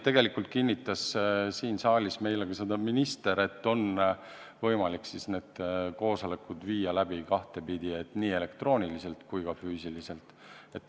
Tegelikult kinnitas siin saalis meile ka minister, et on võimalik need koosolekud viia läbi kahte moodi, nii elektrooniliselt kui ka füüsiliselt.